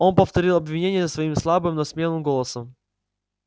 он повторил обвинения свои слабым но смелым голосом